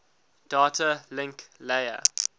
data link layer